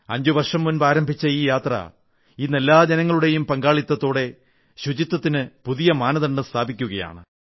5 വർഷം മുമ്പ് ആരംഭിച്ച ഈ യാത്ര ഇന്ന് എല്ലാ ജനങ്ങളുടെയും പങ്കാളിത്തത്തോടെ ശുചിത്വത്തിന് പുതിയ മാനദണ്ഡം സൃഷ്ടിക്കുകയാണ്